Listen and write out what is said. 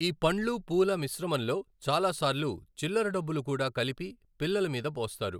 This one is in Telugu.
ఈ పండ్లు, పూల మిశ్రమంలో చాల సార్లు చిల్లరడబ్బులు కూడా కలిపి, పిల్లల మీద పోస్తారు.